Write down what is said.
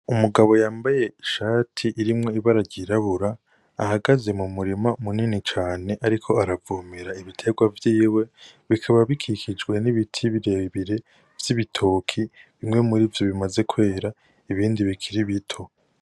Umugabo yambaye ishati irimwo ibara ryirabura ahagaze mu murima munini cane ariko aravomera ibiterwa vyiwe ,bikaba bikikijwe n'ibiti birebire vy'ibitoke bimwe muri vyo bimaze kwera ibindi bikiri bito.